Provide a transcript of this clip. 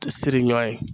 Siri ɲɔ ye